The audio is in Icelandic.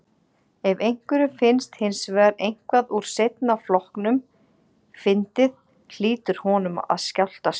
Ef einhverjum finnst hins vegar eitthvað úr seinna flokknum fyndið hlýtur honum að skjátlast.